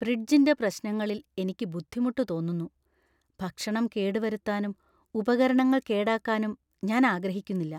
ഫ്രിഡ്ജിന്‍റെ പ്രശ്നങ്ങളിൽ എനിക്ക് ബുദ്ധിമുട്ട്‌ തോന്നുന്നു; ഭക്ഷണം കേടുവരുത്താനും ഉപകരണങ്ങൾ കേടാക്കാനും ഞാൻ ആഗ്രഹിക്കുന്നില്ല.